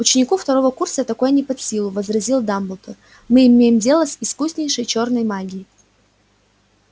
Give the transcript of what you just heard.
ученику второго курса такое не под силу возразил дамблдор мы имеем дело с искуснейшей чёрной магией